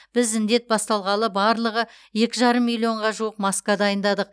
біз індет басталғалы барлығы екі жарым миллионға жуық маска дайындадық